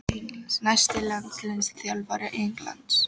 Næsti landsliðsþjálfari Englands?